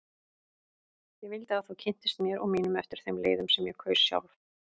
Ég vildi að þú kynntist mér og mínum eftir þeim leiðum sem ég kaus sjálf.